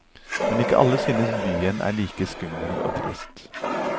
Men ikke alle synes byen er like skummel og trist.